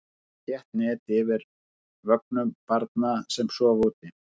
Hafa þétt net yfir vögnum barna sem sofa úti.